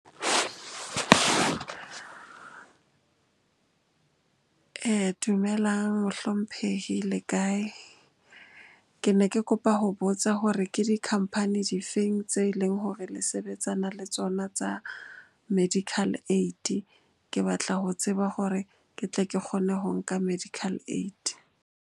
Dumelang mohlomphehi, le kae? Ke ne ke kopa ho botsa hore ke di-company difeng tse leng hore le sebetsana le tsona tsa medical aid. Ke batla ho tseba hore ke tle ke kgone ho nka medical aid.